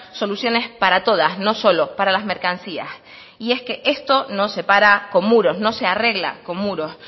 soluciones para todas no solo para las mercancías y es que esto no se para con muros no se arregla con muros